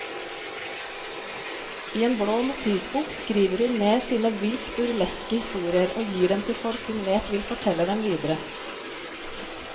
I en blå notisbok skriver hun ned sine vilt burleske historier og gir dem til folk hun vet vil fortelle dem videre.